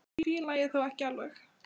Einhvern veginn fíla ég þá ekki alveg.